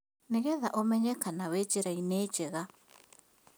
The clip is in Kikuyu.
Nĩgetha ũmenye kana wĩ njĩra-inĩ njega